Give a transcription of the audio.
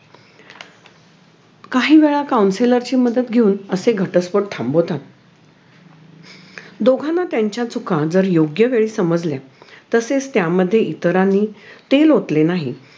काही वेळा counsellor ची मदत घेऊन असे घटस्फोट थांबवतात दोघांना त्यांच्या चुका जर योग्य वेळी समजल्या तसेच त्यामध्ये इतरांनी तेल ओतले नाही